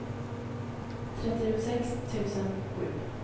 trettiosex tusen sju